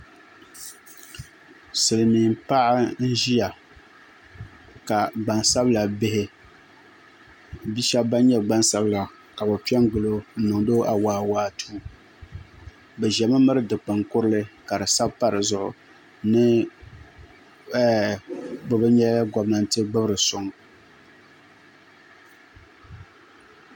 Silmiin paɣa n ʒiya ka bia shab ban nyɛ gbansabila ka bi piɛ n gilo n niŋdi o awaawaatuu bi ʒimi miri dikpuni kurili ka di sani pa dizuɣu ni bi bi nyɛla gobnanti gbubiri suŋ